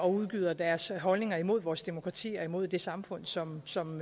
udgyder deres holdninger imod vores demokrati og imod det samfund som som